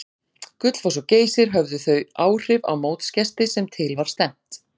Gullfoss og Geysir höfðu þau áhrif á mótsgesti sem til var stefnt.